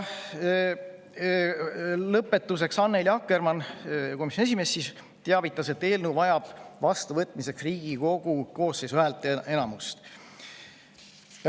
Lõpetuseks teavitas meid Annely Akkermann, komisjoni esimees, et eelnõu vajab vastuvõtmiseks Riigikogu koosseisu häälteenamust.